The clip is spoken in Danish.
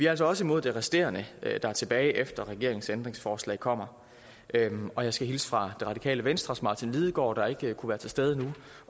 altså også imod det resterende der er tilbage efter regeringens ændringsforslag kommer og jeg skal hilse fra det radikale venstres martin lidegaard der ikke kunne være til stede nu